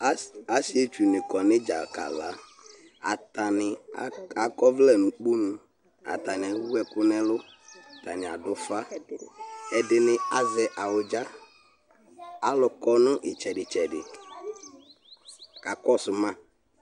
asietsʋni kɔ nʋ idza kala atani akɔvlɛ nʋ okponʋ atani ewʋɛkʋ nɛlʋ adʋƒa ɛdini azɛ awʋdza alʋkɔ nʋ itsɛdi tsɛdi kakɔsʋma